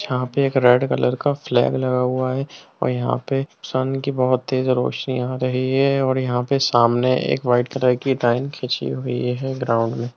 यहां पर एक रेड कलर का फ्लैग लगा हुआ है और यहां पे सन की बहुत तेज रोशनी आ रही है और यहां पर सामने एक व्हाइट कलर की लाइन खींची हुई है ग्राउंड में।